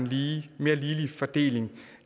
ligelig fordeling